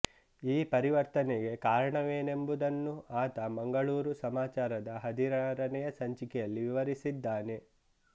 ಈ ಪರಿವರ್ತನೆಗೆ ಕಾರಣವೇನೆಂಬುದನ್ನು ಆತ ಮಂಗಳೂರು ಸಮಾಚಾರದ ಹದಿನಾರನೆಯ ಸಂಚಿಕೆಯಲ್ಲಿ ವಿವರಿಸಿದ್ದಾನೆ